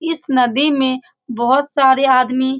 इस नदी में बहुत सारे आदमी --